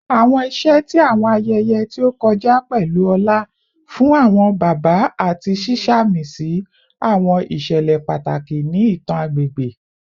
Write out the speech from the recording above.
Awọn iṣẹ ti awọn ayẹyẹ ti o kọja pẹlu ọlá fun awọn baba ati ṣiṣamisi awọn iṣẹlẹ pataki ni itan agbegbe